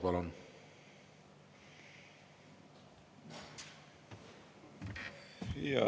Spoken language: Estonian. Palun!